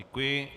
Děkuji.